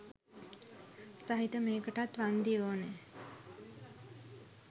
සහිත මේකටත් වන්දි ඕන.